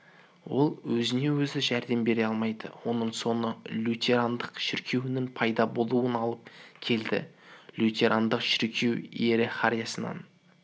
ол өзіне-өзі жәрдем бере алмайды оның соңы лютерандық шіркеуінің пайда болуына алып келді лютерандық шіркеу иерархиясын